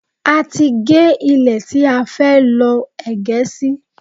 A ti gẹ́ ilẹ̀ tí a fẹ́ lọ́ ẹ̀gẹ́ sí